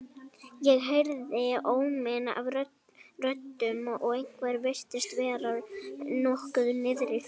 Ég heyrði óminn af röddum og einhverjum virtist vera nokkuð niðri fyrir.